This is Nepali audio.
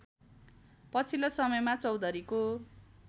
पछिल्लो समयमा चौधरीको